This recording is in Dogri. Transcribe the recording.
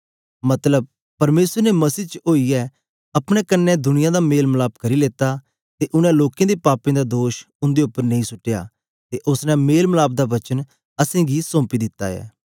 मतलब परमेसर ने मसीह च ओईयै अपने कन्ने दुनिया दा मेल मलाप करी लेता ते उनै लोकें दे पापें दा दोष उंदे उप्पर नेई सुट्टया ते ओसने मेल मलाप दा वचन असेंगी सौंपी दित्ता ऐ